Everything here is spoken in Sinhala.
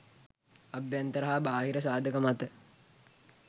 අභ්‍යන්තර හා බාහිර සාධක මත